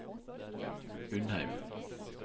Undheim